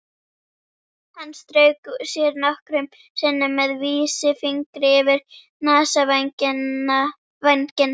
Hann strauk sér nokkrum sinnum með vísifingri yfir nasavænginn.